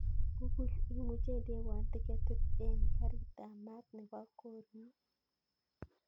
Google imuche indewon tiketit en karit ap maat nepo korun